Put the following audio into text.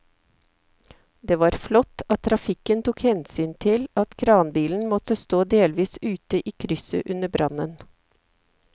Det var flott at trafikken tok hensyn til at kranbilen måtte stå delvis ute i krysset under brannen.